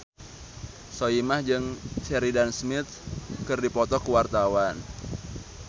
Soimah jeung Sheridan Smith keur dipoto ku wartawan